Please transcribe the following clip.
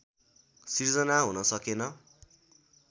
सिर्जना हुन सकेन